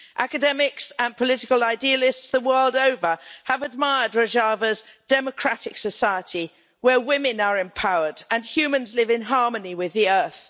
Academics and political idealists the world over have admired Rojava's democratic society, where women are empowered and humans live in harmony with the earth.